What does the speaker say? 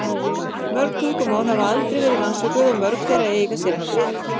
Mörg tungumál hafa aldrei verið rannsökuð og mörg þeirra eiga sér ekki ritmál.